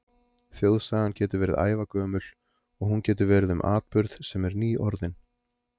Þjóðsagan getur verið ævagömul, og hún getur verið um atburð, sem er nýorðinn.